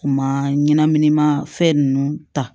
U ma ɲɛnaminima fɛn ninnu ta